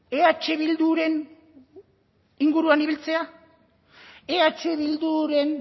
eh bilduren inguruan ibiltzea eh bilduren